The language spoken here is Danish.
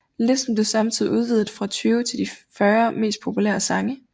Listen blev samtidig udvidet fra 20 til de 40 mest populære sange